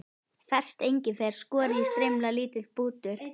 Ferskt engifer, skorið í strimla, lítill bútur